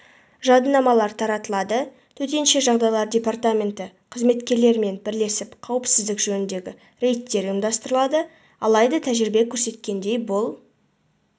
жадынамалар таратылады төтенше жағдайлар департаменті қызметкерлерімен бірлесіп қауіпсіздік жөніндегі рейдтер ұйымдастырылады алайда тәжірибе көрсеткендей бұл